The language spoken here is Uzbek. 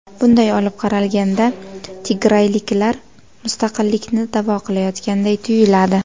Bunday olib qaralganda tigrayliklar mustaqillikni da’vo qilayotganday tuyuladi.